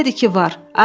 Elədir ki var.